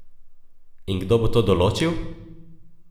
In kdo bo to določil?